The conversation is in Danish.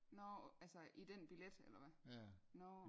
Nårh altså i den billet eller hvad nårh